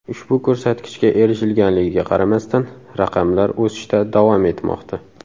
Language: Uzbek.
Ushbu ko‘rsatkichga erishilganligiga qaramasdan, raqamlar o‘sishda davom etmoqda.